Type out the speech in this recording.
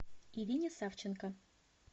ирине савченко